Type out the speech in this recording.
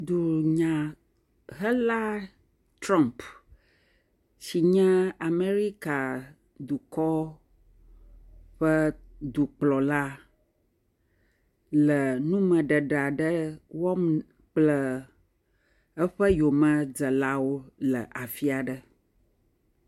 Dunyahela Trɔ̃mp, si nye Amɛrika dukɔ ƒe dukplɔla le numeɖeɖe aɖe wɔm kple eƒe yomedzelawo le afi aɖe.